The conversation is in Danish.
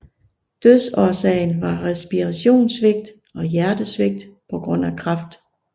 Dødsårsagen var respirationssvigt og hjertesvigt på grund af kræft